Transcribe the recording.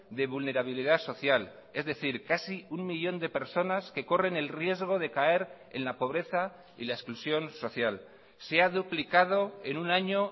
de vulnerabilidad social es decir casi un millón de personas que corren el riesgo de caer en la pobreza y la exclusión social se ha duplicado en un año